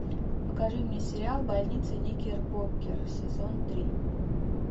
покажи мне сериал больница никербокер сезон три